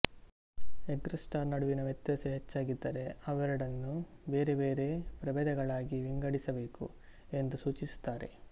ergaster ನಡುವಿನ ವ್ಯತ್ಯಾಸ ಹೆಚ್ಚಾಗಿದ್ದರೆ ಅವೆರಡನ್ನು ಬೇರೆ ಬೇರೆ ಪ್ರಭೇದಗಳಾಗಿ ವಿಂಗಡಿಸ ಬೇಕು ಎಂದು ಸೂಚಿಸುತ್ತಾರೆ